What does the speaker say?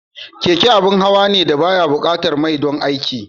Keke abin hawa ne da ba ya buƙatar mai don aiki.